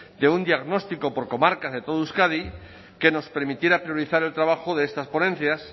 de un diagnóstico por comarcas de toda euskadi que nos permitiera priorizar el trabajo de estas ponencias